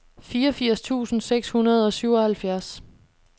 fireogfirs tusind seks hundrede og syvoghalvfjerds